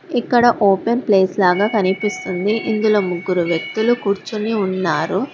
ఇక్కడ open place లాగా కనిపిస్తుంది ఇందులో ముగ్గురు వ్యక్తులు కూర్చుని ఉన్నారు.